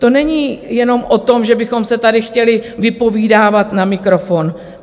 To není jenom o tom, že bychom se tady chtěli vypovídávat na mikrofon.